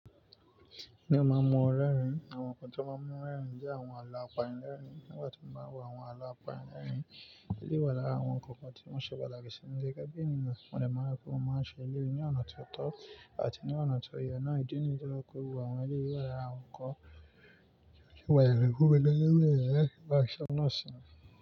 N o ma mu ọ̀rẹ́ rìn. Awọn nkan ti o ma mu ọ̀rẹ́ rìn jẹ awọn àlọ́ àpẹ̀rẹ̀ rìn. Nígbà tí mo ma wọ awọn àlọ́ àpẹ̀rẹ̀ rìn, ilẹ̀ wa làrà awọn nkan kan tí wọn ṣe bàlà kẹsìn ní ilẹ̀ gẹ́gẹ́ bí níbà. Mo de má n rí pé mo n ma ṣe elẹ̀yii ní ọ̀nà tó tọ̀ àti ní ọ̀nà tó ye naà. Ìdi niyi tó ye pe gbogbo awọn elẹ̀yoi wa làrà awọn nkan ti o le wáyẹ̀ lẹ́kún gbẹ́lẹ̀ gbẹ́lẹ̀ lẹ́ẹ̀ kí wá ṣe ọ̀nà sí ni.